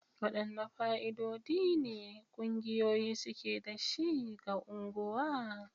Wadanne fa'idodi ne ƙungiyoyi suke da shi ga unguwa?